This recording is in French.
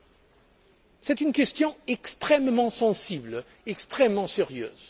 Il s'agit d'une question extrêmement sensible, extrêmement sérieuse.